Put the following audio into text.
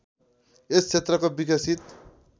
यस क्षेत्रको विकसित